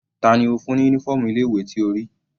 Tani ó fún ní uniform ilé ìwé tí o rí?